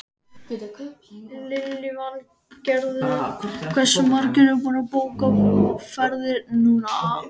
Lillý Valgerður: Hversu margir eru búnir að bóka ferðir núna?